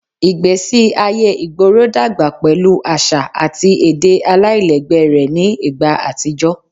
Igbesi aye igboro dagba pẹlu aṣa ati ede alailẹgbẹ rẹ ni igba atijọ